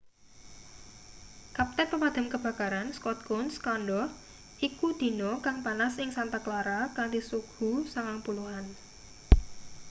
kapten pemadam kebakaran scott kouns kandha iku dina kang panas ing santa clara kanthi suhu 90-an